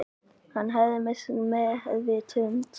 Hann hefði misst meðvitund